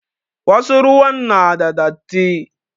Wasu ruwan na da datti.